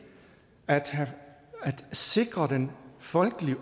at sikre den folkelige